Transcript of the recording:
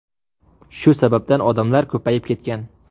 Shu sababdan odamlar ko‘payib ketgan.